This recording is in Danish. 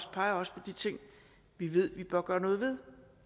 peger også på de ting vi ved vi bør gøre noget ved